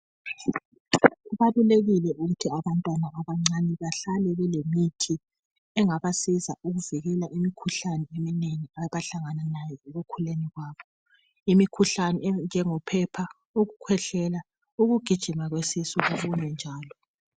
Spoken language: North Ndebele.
Kubalulekile ukuthi abantwana abancani bahlale belemuthi engabasiza ukuvikela imikhuhlane eminengi abahlangana layo ekukhuleni kwabo imikhuhlane enjengophepha, ukukhwehlela, ukugijima kwesisu lokunye njalo.